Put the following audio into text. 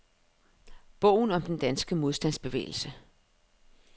Bogen om den danske modstandsbevægelse.